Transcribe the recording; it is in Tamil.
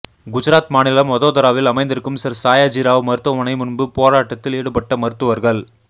குஜராத் மாநிலம் வதோதராவில் அமைந்திருக்கும் சர் சாயாஜிராவ் மருத்துவமனை முன்பு போராட்டத்தில் ஈடுபட்ட மருத்துவர்கள்